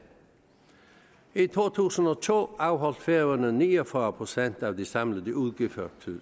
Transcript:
i to tusind og to afholdt færøerne ni og fyrre procent af de samlede udgifter til